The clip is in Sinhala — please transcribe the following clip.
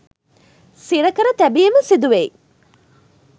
සිර කර තැබීම සිදු වෙයි